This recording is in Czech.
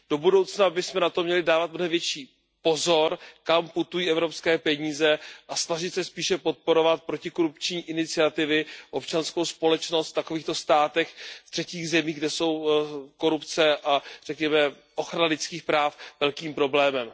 Do budoucnosti bychom měli dávat mnohem větší pozor, kam putují evropské peníze, a snažit se spíše podporovat protikorupční iniciativy, občanskou společnost v takovýchto státech, ve třetích zemích, kde jsou korupce a řekněme ochrana lidských práv velkým problémem.